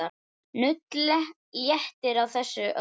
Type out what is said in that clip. Nudd léttir á þessu öllu.